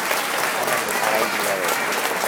Anna nĩ arainia wega